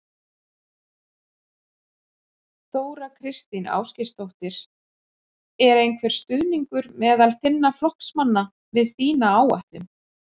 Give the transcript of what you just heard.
Þóra Kristín Ásgeirsdóttir: Er einhver stuðningur meðal þinna flokksmanna við þína áætlun?